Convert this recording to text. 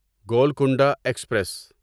Golconda express